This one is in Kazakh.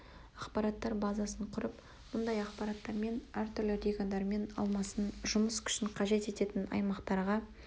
ақпараттар базасын құрып мұндай ақпараттармен әр түрлі региондармен алмасын жұмыс күшін қажет ететін аймақтарға